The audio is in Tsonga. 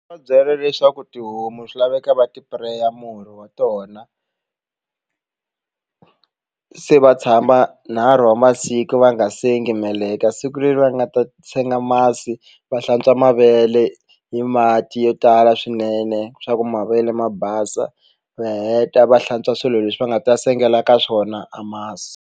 Va byela leswaku tihomu swi laveka va ti pureya murhi wa tona se va tshama nharhu wa masiku va nga sengi meleka siku leri va nga ta a senga masi va hlantswa mavele hi mati yo tala swinene swa ku mavele ma basa va heta va hlantswa swilo leswi va nga ta sengela ka swona a masi.